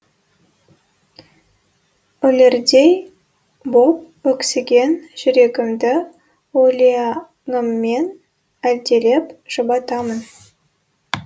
өлердей боп өксіген жүрегімді өлеңіммен әлдилеп жұбатамын